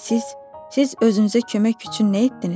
Lakin siz, siz özünüzə kömək üçün nə etdiniz?